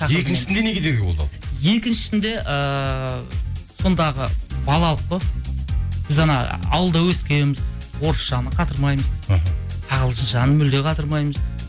екіншісінде не кедергі болды ал екіншісінде ыыы сондағы балалық қой біз анау ауылда өскенбіз орысшаны қатырмаймыз мхм ағылшыншаны мүлде қатырмаймыз